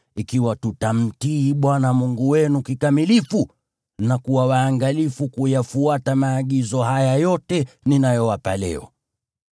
ikiwa tutamtii Bwana Mungu wenu kikamilifu na kuwa waangalifu kuyafuata maagizo haya yote ninayowapa leo.